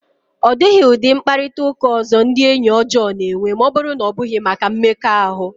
Ọ dịghị ụdị mkparịta ụka ọzọ ndị enyi ọjọọ na-enwe ma ọ bụrụ na ọ bụghị maka mmekọahụ.